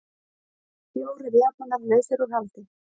Fjórir Japanar lausir út haldi